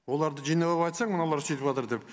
оларды жинап айтсаң мыналар сөйтіватыр деп